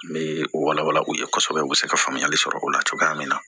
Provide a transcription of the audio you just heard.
N bɛ o wala wala u ye kosɛbɛ u bɛ se ka faamuyali sɔrɔ o la cogoya min na